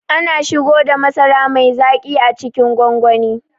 Ana shigoda masara mai zaƙi a cikin gwangwani